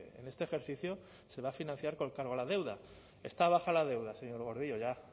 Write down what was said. en este ejercicio se va a financiar con cargo a la deuda está baja la deuda señor gordillo ya